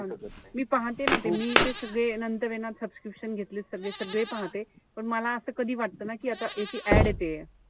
मी पहाते ना ते मी ते सगळे नंतर ए ना ते subscription घेतलेत सगळे. सगळे पहाते. पण मला असं कधी वाटत ना कि आता याची ad येते,